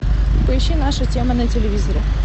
поищи наша тема на телевизоре